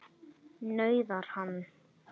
nauðar hann.